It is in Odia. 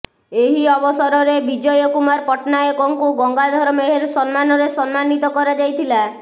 ଏହି ଅବସରରେ ବିଜୟ କୁମାର ପଟ୍ଟନାୟକଙ୍କୁ ଗଙ୍ଗାଧର ମେହେର ସମ୍ମାନରେ ସମ୍ମାନିତ କରାଯାଇଥିଲା